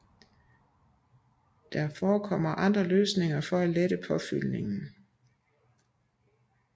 Der forekommer andre løsninger for at lette påfyldningen